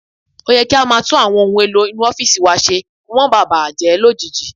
Ó yẹ kí a máa tún àwọn ohun èlò inú ọ́fìsì wa ṣe kí wọ́n máa ba à bàjẹ́ lójijì